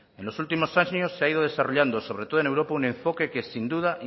en los últimos años se ha ido desarrollando sobre todo en europa un enfoque que sin duda